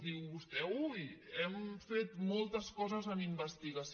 diu vostè ui hem fet moltes coses en investigació